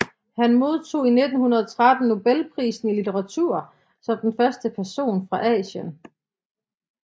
Han modtog i 1913 Nobelprisen i litteratur som den første person fra Asien